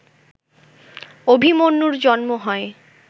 অভিমন্যুর জন্ম হয়